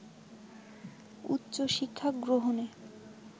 উচ্চশিক্ষা গ্রহণে